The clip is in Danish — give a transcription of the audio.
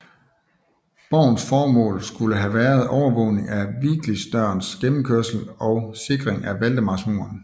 Borgens formål skulle have været overvågning af Viglidsdørens gennemkørsel og sikring af Valdemarsmuren